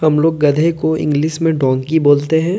हम लोग गधे को इंग्लिश में डंकी बोलते हैं।